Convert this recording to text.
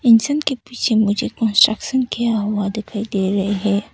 इंसान के पीछे मुझे कंस्ट्रक्शन किया हुआ दिखाई दे रहे हैं।